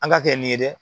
An ka kɛ nin ye dɛ